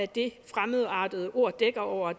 det fremadrettede ord dækker over